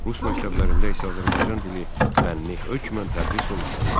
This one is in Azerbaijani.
Rus məktəblərində isə Azərbaycan dili fənni hökmən tədris olunmalı idi.